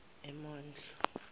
emondlo